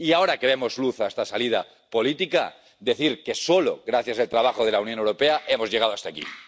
Y ahora que vemos luz en esta salida política, quiero decir que solo gracias al trabajo de la Unión Europea hemos llegado hasta aquí.